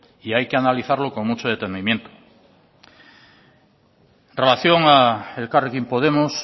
y hay que analizarlo con mucho detenimiento en relación a elkarrekin podemos